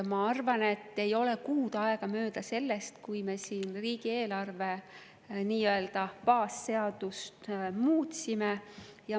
Ma arvan, et ei ole veel kuut aega möödunud sellest, kui me siin riigieelarve nii-öelda baasseadust muutsime.